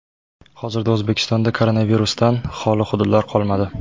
Hozirda O‘zbekistonda koronavirusdan xoli hududlar qolmadi.